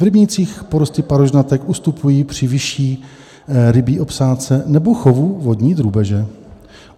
V rybnících porosty parožnatek ustupují při vyšší rybí obsádce nebo chovu vodní drůbeže.